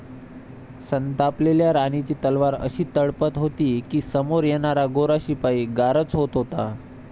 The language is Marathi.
संतापलेल्या राणीची तलवार अशी तळपत होती, की समोर येणारा गोरा शिपाई गारच होत होता.